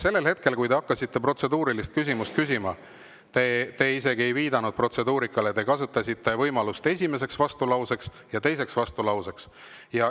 Sellel hetkel, kui te hakkasite protseduurilist küsimust küsima, te isegi ei viidanud protseduurikale, vaid kasutasite seda võimalust esimese ja teise vastulause.